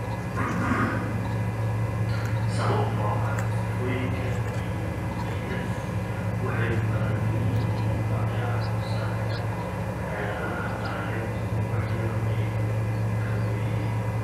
Sababtoo ah sifooyinka EDS waxay ku kala duwan yihiin nooca-hoosaadka, xeeladaha maarayntu wax yar bay ku kala duwan yihiin.